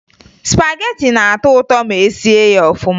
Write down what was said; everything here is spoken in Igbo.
Spagetị na-atọ ụtọ ma e sie ya ọfụma